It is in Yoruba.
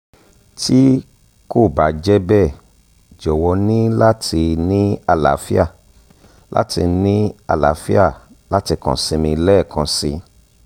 ti ko ba jẹ bẹ jọwọ ni lati ni alaafia lati ni alaafia lati kan si mi lẹẹkansi